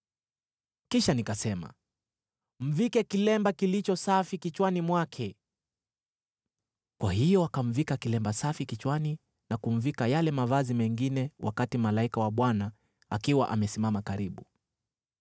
Kisha nikasema, “Mvike kilemba kilicho safi kichwani mwake.” Kwa hiyo wakamvika kilemba safi kichwani na kumvika yale mavazi mengine, wakati malaika wa Bwana akiwa amesimama karibu.